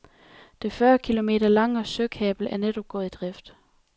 Det fyrre kilometer lange søkabel er netop gået i drift.